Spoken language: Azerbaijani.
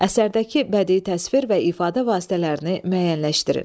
Əsərdəki bədii təsvir və ifadə vasitələrini müəyyənləşdirin.